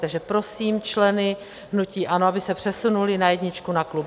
Takže prosím členy hnutí ANO, aby se přesunuli na jedničku na klub.